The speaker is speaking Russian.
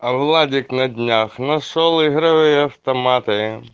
а владик на днях нашёл игровые автоматы